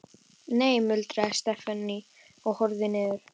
Nei muldraði Stefán og horfði niður.